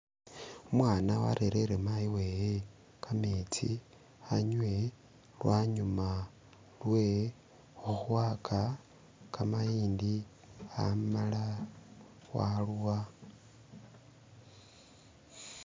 Umwana warerere mayi wewe kametsi anywe lwanyuma lwe khukhwaka kamayindi amala waluwa...